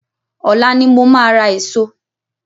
Ọ̀la ni mo máa ra eso.